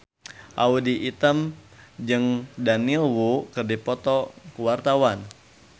Audy Item jeung Daniel Wu keur dipoto ku wartawan